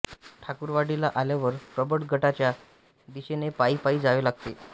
ठाकुरवाडीला आल्यावर प्रबळ गडाच्या दिशेने पायी पायी जावे लागते